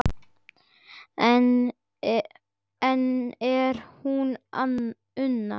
Enn er hún Una